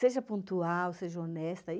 Seja pontual, seja honesta.